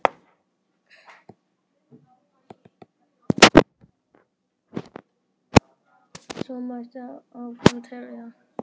Svo mætti áfram telja.